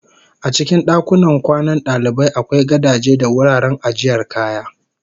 A cikin dakunan kwanan dalibai akwai gadaje da wuraren ajiyar kaya